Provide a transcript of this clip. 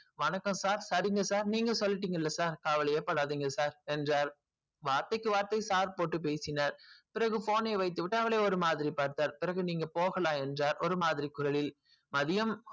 வணக்கம் sir சரிங்க sir நீங்க சொல்லிட்டீங்கல sir கவலையே படாதீங்க sir வார்த்தைக்கு வார்த்தைக்கு sir போடு பேசினால் பிறகு phone வைத்து விட்டு நீங்க போலாம் sir என்று ஒரு மாதிரி குரலில் மதியம்